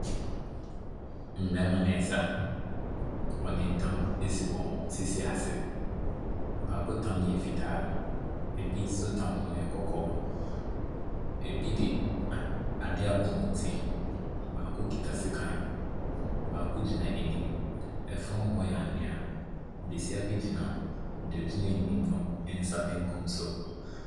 Mbɛɛma neesa. Wɔde ntam asi wɔn sisi ase. Baako tam no yɛ fitaa, ebi nso tam no yɛ kɔkɔɔ, ebi di ade abɔ wɔn ti, baako kita sekan, baako gyina anim. Ɛfɔm hɔ yɛ anwea. Besia bi gyina deɛ ogyina anim no ne nsa benkum so.